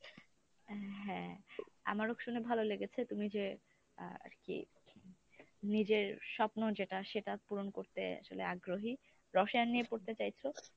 হ্যাঁ আমারও শুনে ভালো লেগেছে তুমি যে আ আরকি নিজের স্বপ্ন যেটা সেটা পূরণ করতে আসলে আগ্রহী রসায়ন নিয়ে পড়তে চাইছো,